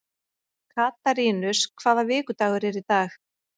Katarínus, hvaða vikudagur er í dag?